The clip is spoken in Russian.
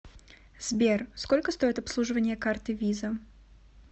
сбер сколько стоит обслуживание карты виза